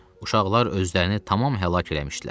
Uşaqlar özlərini tamam həlak eləmişdilər.